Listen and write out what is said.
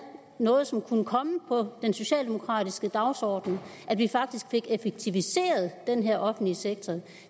noget som kunne komme på den socialdemokratiske dagsorden at vi faktisk fik effektiviseret den her offentlige sektor